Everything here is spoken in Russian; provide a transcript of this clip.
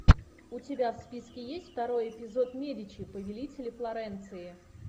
у тебя в списке есть второй эпизод медичи повелители флоренции